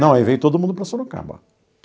Não, aí veio todo mundo para Sorocaba.